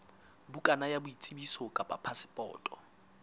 bukana ya boitsebiso kapa phasepoto